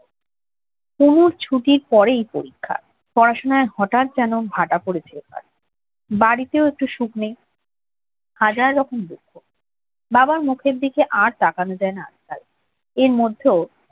কুমুর ছুটির পরেই পরীক্ষা, পড়াশোনায় হঠাৎ যেন কেমন ভাটা পড়েছে বাড়িতেও একটু সুখ নেই হাজার রকম দুঃখ বাবার মুখের দিকেও আর তাকানো যায় না আজকাল এর মধ্যেও